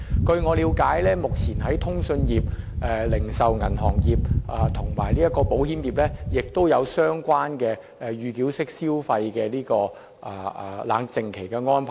據我了解，目前在通訊業、零售銀行業和保險業亦有安排，設置預繳式消費的冷靜期。